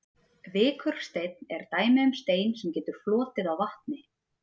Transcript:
Vikursteinn er dæmi um stein sem getur flotið á vatni.